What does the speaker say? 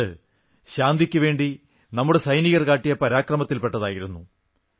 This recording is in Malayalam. അതു ശാന്തിക്കുവേണ്ടി നമ്മുടെ സൈനികർ കാട്ടിയ പരാക്രമത്തിൽ പെട്ടതായിരുന്നു